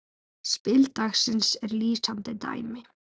Spil dagsins er lýsandi dæmi.